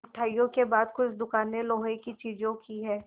मिठाइयों के बाद कुछ दुकानें लोहे की चीज़ों की हैं